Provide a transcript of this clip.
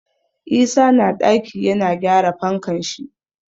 Isa na ɗaki yana gyara fankan shi.